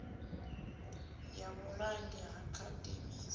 ya vhulangi ha khadzimiso ya